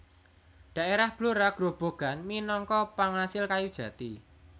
Daerah Blora Grobogan minangka pangasil kayu jati